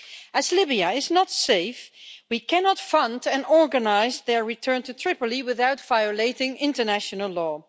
As Libya is not safe, we cannot fund and organise their return to Tripoli without violating international law.